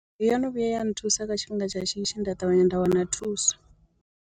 Yo no vhuya ya nthusa kha tshifhinga tsha shishi nda ṱavhanya nda wana thuso.